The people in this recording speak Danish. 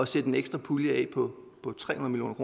sætte en ekstra pulje af på tre hundrede